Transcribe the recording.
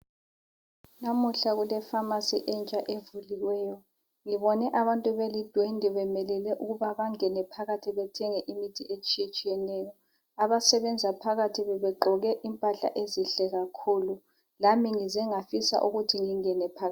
Namuhla kule"pharmacy" entsha evuliweyo. Ngibone abantu belidwendwe bemelele ukuba bangene phakathi bethenge imithi etshiyetshiyeneyo. Abasebenza phakathi bebegqoke impahla ezinhle kakhulu. Lami ngize ngafisa ukuthi ngingene phakathi.